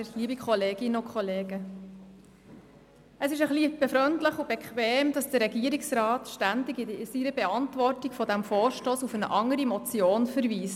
Es ist ein wenig befremdlich und bequem, dass der Regierungsrat in seiner Beantwortung zu diesem Vorstoss ständig auf eine andere Motion verweist.